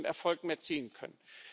Erfolg mehr ziehen können.